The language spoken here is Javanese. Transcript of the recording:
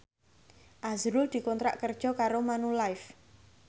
azrul dikontrak kerja karo Manulife